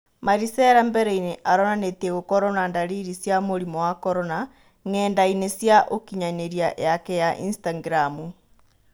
Marisera mbereinĩ aronanĩtie gũkorwo na ndariri cia mũrimũ wa Korona ng'endainĩ cia ũkinyanĩria yake ya Instagramu.